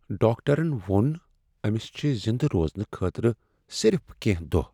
ڈاکٹرن ووٚن أمس چھ زندٕ روزنہٕ خٲطرٕ صرف کینٛہہ دۄہ۔